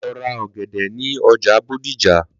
Lọ ra ọ̀gẹ̀dẹ̀ ní ọjà Bódìjà!